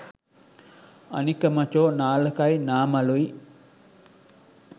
අනික මචෝ නාලකයි නාමලුයි